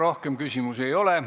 Rohkem küsimusi ei ole.